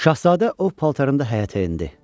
Şahzadə ov paltarında həyətə endi.